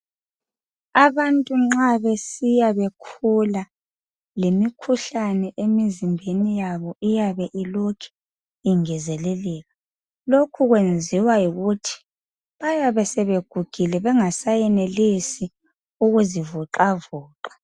Abantu nxa besiya bekhula lemikhuhlane emzimbeni yabo iyabe ilokhu ingezeleleka lokhu kuyenziwa yikuthi bayabe sebegugile bengaseyenelisi ukuzivoxavoxa